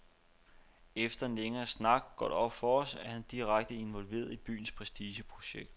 Efter en længere snak går det op for os, at han er direkte involveret i byens prestigeprojekt.